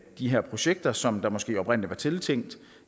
de her projekter som der måske oprindelig var tiltænkt